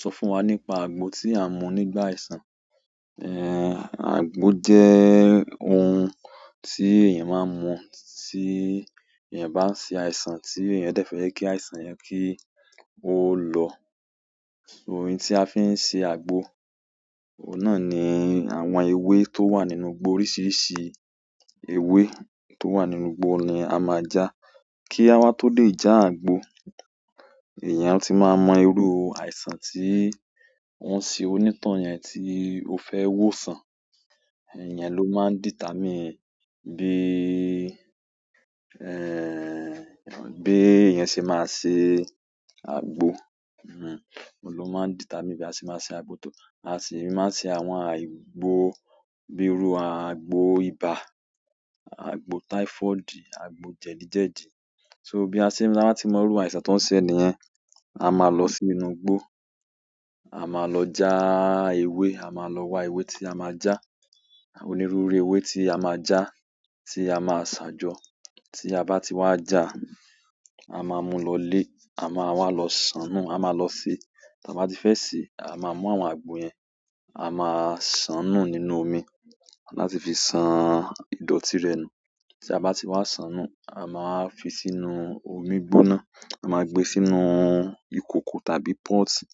Sọ fún wa nípa àgbo tí a mu nígbà àìsàn. Ẹ̀ àgbo jẹ́ oun tí èèyàn máa ń mu tí èèyàn bá ṣe àìsàn tí èèyàn dẹ fẹ́ jẹ́ kí àìsàn yẹn kí i ó lọ. Oun tí a fi ń ṣe àgbo, oun náà ni àwọn ewé tó wà nínú igbó. Oríṣiríṣi ewé tó wà nínú igbó ni a máa já, kí a wá tó lè já àgbo. Èèyàn ti máa mọ irú àìsàn tí òun ṣe onítàn yẹn tí ó fẹ́ wòsàn. Iyẹn ló máa determine bí, ẹ̀ ẹ́ bí èèyàn ṣe máa ṣe àgbo. Mhmm, òun lo maa determine bí a ṣe máa ṣe àgbo. A sì máa ṣe àwọn àìgbò bíi irú àgbo ibà, àgbo typhoid, àgbo jẹ̀dí jẹ̀dí. So bí a ṣe, ta bá ti mọ irú àìsàn tí wọ́n ṣe ẹniyẹn, a máa lọ sí inú igbó, a máa lọ já ewé, a máa lọ wa ewé tí a máa já. Onírúurú ewé tí a máa já, tí a máa ṣàjọ. Tí a bá ti wá já, a máa mú lọlé, a máa wá lọ ṣàánú, a máa lọ sè. Ti a ba ti fẹ se, a maa mu àwọn agbo yẹn, a maa san nu nínú omi láti fi san idọti rẹ nu. Tí a bá ti wá ṣàn nú, a máa fi sínú omi gbóná, a máa gbé sínú ìkòkò tàbí pọ́ọ̀tì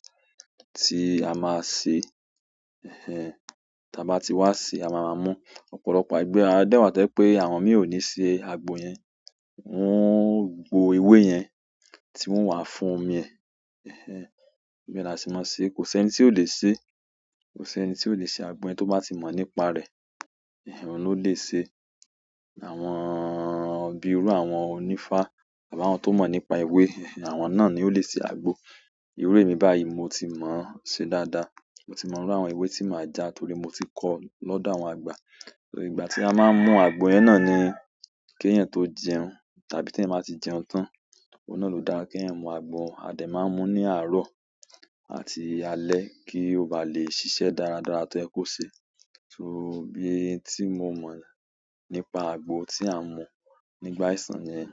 tí a máa ṣe. Ehẹn ta bá ti wá se, a máa maa mú ọ̀pọ̀lọpọ̀ àgbo. A dẹ́bwá to jẹ pé àwọn mìí ò ní ṣe àgbo yẹn, wọ́n o gbò ewé yẹn tí wọ́n o wà fún omi. Ehẹn bẹ la ṣe máa n ṣe, kò si ẹni tí ò le ṣe, kò si ẹni tí ò le ṣe àgbo yẹn tó bá ti mọ nípa rẹ̀. Oun ló lè ṣe. Àwọn bíi irú àwọn onífá àbí àwọn tó mọ̀ nípa ewé, àwọn náà ni ó lè ṣe àgbo. Irú èmi báyìí mo ti mọ̀ ṣe dáadáa. Mo ti mọ̀ irú àwọn ewé tí màá já torí mo ti kọ́ ọ́ lọ́dọ̀ àwọn àgbà. So ìgbà tí a máa ń mú àgbo yẹn náà ni, kí èèyàn tó jẹun tàbí tí èèyàn ba ti jẹun tán. Òun náà ló dára kí èèyàn mú àgbo. A dẹ máa ń mú ní àárọ̀ àti alẹ́ kí ó bá lè ṣiṣẹ́ dáradára to yẹ kó ṣe. So, n ti mo mọ nípa agbo ti a n mu nígbà àìsàn niyẹn.